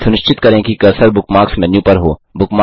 सुनिश्चित करें कि कर्सर बुकमार्क्स मेन्यू पर हो